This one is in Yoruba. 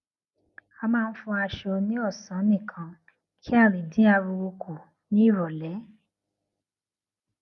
a máa ń fọ aṣọ ní òsán nìkan kí a lè dín ariwo kù ní ìrọlẹ